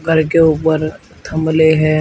घर के ऊपर थंबले हे।